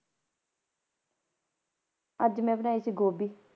ਅੱਜ ਮੈਂ ਬਣਾਈ ਸੀ ਗੋਭੀ।